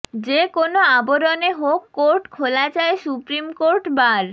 যে কোনো আবরণে হোক কোর্ট খোলা চায় সুপ্রিমকোর্ট বার